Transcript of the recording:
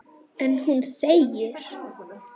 En hún þegir.